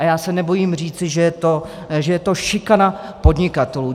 A já se nebojím říci, že to je šikana podnikatelů.